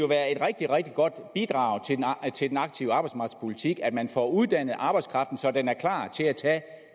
rigtig rigtig godt bidrag til den aktive arbejdsmarkedspolitik at man får uddannet arbejdskraften så den er klar til at tage